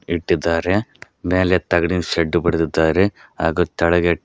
ಇಟ್ಟಿದ್ದಾರೆ ಮ್ಯಾಲೆ ತಗಡಿನ್ ಶೇಡ್ಡು ಬಡದಿದ್ದರೆ ಹಾಗೂ ತಳಗೆ--